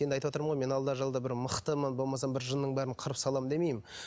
енді айтыватырмын ғой мен алда жалда бір мықтымын болмаса жынның бәрін қырып саламын демеймін